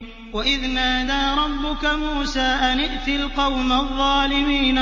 وَإِذْ نَادَىٰ رَبُّكَ مُوسَىٰ أَنِ ائْتِ الْقَوْمَ الظَّالِمِينَ